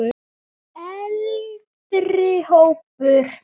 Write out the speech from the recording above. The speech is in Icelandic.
Eldri hópur